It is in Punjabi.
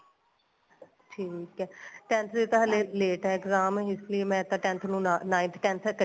ਠੀਕ ਏ tenth ਦੇ ਤਾਂ ਹਲੇ late ਏ ਇਸ ਲੈ ਮੈਂ ਤਾਂ tenth ਨੂੰ ਨਾਲ nine tenth ਤਾਂ ਇੱਕਠੀ